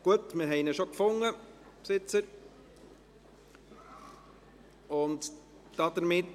– Gut, wir haben den Besitzer schon gefunden.